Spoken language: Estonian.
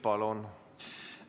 Palun!